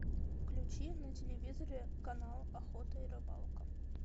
включи на телевизоре канал охота и рыбалка